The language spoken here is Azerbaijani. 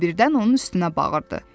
Hamı birdən onun üstünə bağırdı.